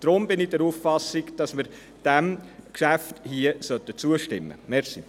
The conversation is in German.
Deshalb bin ich der Auffassung, dass wir diesem Geschäft hier zustimmen sollten.